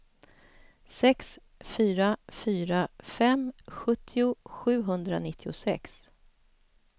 sex fyra fyra fem sjuttio sjuhundranittiosex